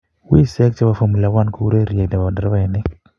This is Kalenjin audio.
wiseek che bo Formula 1 ko urerie ne bo nderabaini.